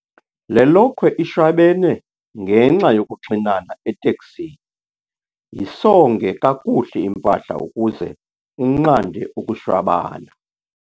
Le lokhwe ishwabene ngenxa yokuxinana eteksini. yisonge kakuhle impahla ukuze unqande ukushwabana